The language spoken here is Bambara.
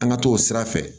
An ka t'o sira fɛ